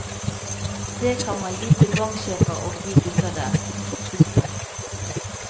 Det kan man gi til banksjefer og de gutta der. punktum